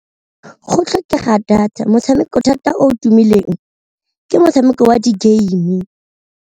Go tlhokega data, motshameko thata o o tumileng ke motshameko wa di-game.